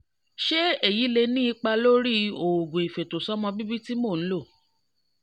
ṣé èyí lè ní ipa lórí oògùn ìfètòsọ́mọbíbí tí mò ń lò?